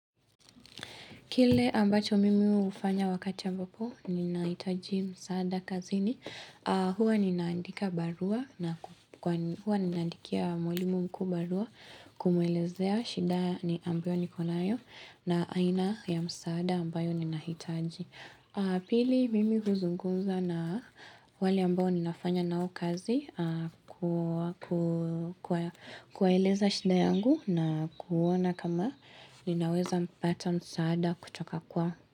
Kile ambacho mimi hufanya wakati ambapo ninahitaji msaada kazini aah Huwa ninaandika barua mwalimu mkuu kumwelezea shida ambayo nikonayo na aina ya msaada ambayo ninahitaji. Pili mimi huzungumza na wale ambao ninafanya nao kazi kuwaeleza shida yangu na kuona kama ninaweza mpata msaada kutoka kwao.